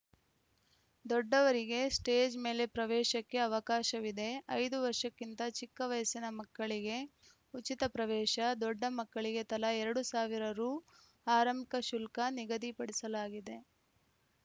ದೊಡ್ಡವರಿಗೆ ಸ್ಟೇಜ್‌ ಮೇಲೆ ಪ್ರವೇಶಕ್ಕೆ ಅವಕಾಶವಿದೆ ಐದು ವರ್ಷಕ್ಕಿಂತ ಚಿಕ್ಕ ವಯಸ್ಸಿನ ಮಕ್ಕಳಿಗೆ ಉಚಿತ ಪ್ರವೇಶ ದೊಡ್ಡ ಮಕ್ಕಳಿಗೆ ತಲಾ ಎರಡು ಸಾವಿರ ರು ಆರಂಭಿಕ ಶುಲ್ಕ ನಿಗದಿಪಡಿಸಲಾಗಿದೆ